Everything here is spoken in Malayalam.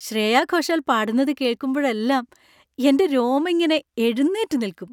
ശ്രേയാ ഘോഷാൽ പാടുന്നത് കേൾക്കുമ്പോഴെല്ലാം എൻ്റെ രോമം ഇങ്ങനെ എഴുന്നേറ്റ് നിൽക്കും.